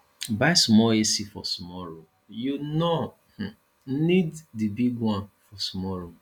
buy small ac for small room you no um need di big one for small room